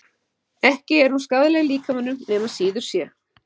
Ekki er hún skaðleg líkamanum nema síður sé.